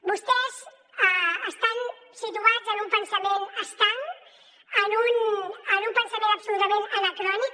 vostès estan situats en un pensament estanc en un pensament absolutament anacrònic